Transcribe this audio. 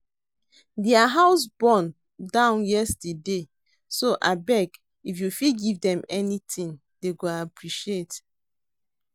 Their house born down yesterday so abeg if you fit give dem anything, dey go appreciate